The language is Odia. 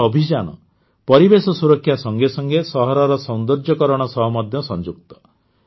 ଏହି ଅଭିଯାନ ପରିବେଶ ସୁରକ୍ଷା ସଙ୍ଗେ ସଙ୍ଗେ ସହରର ସୌନ୍ଦର୍ଯୀକରଣ ସହ ମଧ୍ୟ ସଂଯୁକ୍ତ